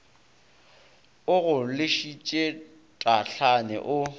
o go lešitše tahlane o